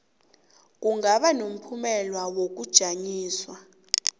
kungaba nomphumela wokujanyiswa